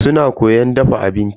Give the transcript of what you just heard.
Suna koyan dafa abinci.